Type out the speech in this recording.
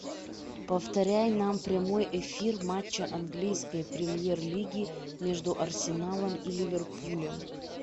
повторяй нам прямой эфир матча английской премьер лиги между арсеналом и ливерпулем